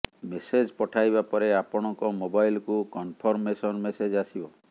message ପଠାଇବା ପରେ ଆପଣଙ୍କ ମୋବାଇଲକୁ କନଫର୍ମମେସନ ମେସେଜ୍ ଆସିବ